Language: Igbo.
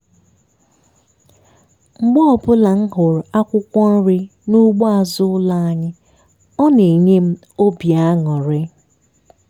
mgbe ọbụla m hụrụ akwụkwọ nri n'ugbo azụ ụlọ anyị ọ na-enye m obi aṅụrị